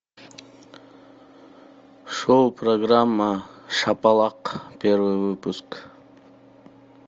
шоу программа шапалак первый выпуск